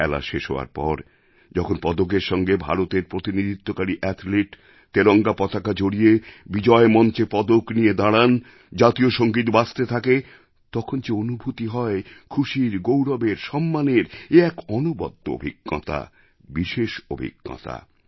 খেলা শেষ হওয়ার পর যখন পদকের সঙ্গে ভারতের প্রতিনিধিত্বকারী অ্যাথলিট তেরঙ্গা পতাকা জড়িয়ে বিজয় মঞ্চে পদক নিয়ে দাঁড়ান জাতীয় সঙ্গীত বাজতে থাকে তখন যে অনুভূতি হয় খুশির গৌরবের সম্মানের এ এক অনবদ্য অভিজ্ঞতা বিশেষ অভিজ্ঞতা